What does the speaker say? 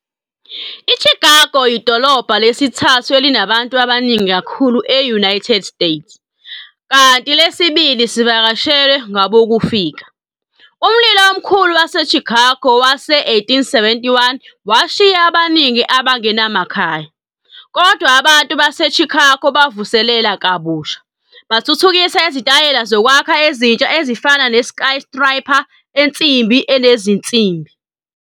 I-Chicago idolobha lesithathu elinabantu abaningi kakhulu e-United States, kanti lesibili sivakashelwe ngabokufika. Umlilo Omkhulu waseChicago wase-1871 washiya abaningi abangenamakhaya, kodwa abantu baseChicago bavuselela kabusha, bathuthukisa izitayela zokwakha ezintsha ezifana ne-skyscraper ensimbi enezinsimbi.